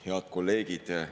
Head kolleegid!